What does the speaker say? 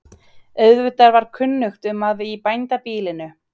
Auðvitað var kunnugt um að í bændabýlinu